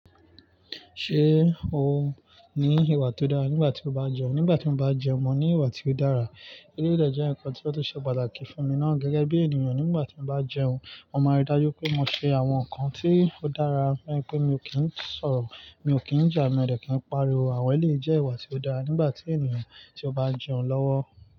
Ṣé o ní ìwà tó dára nígbà tí o bá jẹun? Nígbà tí mo bá jẹun, mo ní ìwà tí ó dára. Éléyí de je ǹkan tí ó tun se pàtàkì fún mi ná. Gẹ́gẹ́ bí ènìyàn, nígbà tí n bá jẹun, mo máa rí dájú wipé mo ṣe àwọn nǹkan tí ó dára. Lẹ́yìn pé mi ò kí ń sọ̀rọ̀, mi ò kí ń jà, mo dẹ̀ kí ń pariwo. Àwẹ̀ lè jẹ́ ìwà tí ó dára nígbà tí ènìyàn tí ó bá n jẹun lọ́wọ́.